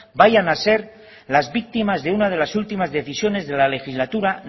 vayan a ser las víctimas de una de las últimas decisiones de la legislatura